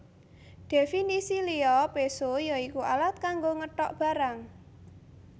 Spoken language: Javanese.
Dhèfinisi liya péso ya iku alat kanggo ngetok barang